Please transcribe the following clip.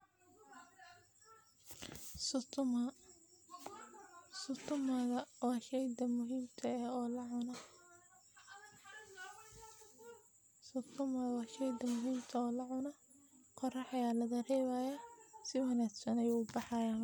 Sukuma , sukuma wa sheyga nadifka eh oo lacuno, sukuma wa sheyga nadifka eh oo lacuno, maraq ayaa lagadigaya, sidas ayu ubaxayaa